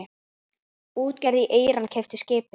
Útgerð í Íran keypti skipið.